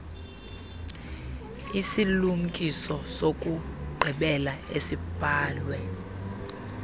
isilumkiso sokugqibela esibhalwe